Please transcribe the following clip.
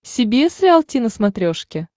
си би эс риалти на смотрешке